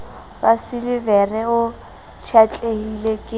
wa silivera o pshatlehile ke